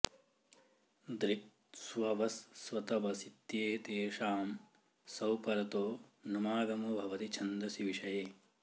दृक् स्ववस् स्वतवसित्येतेषां सौ परतो नुमागमो भवति छन्दसि विषये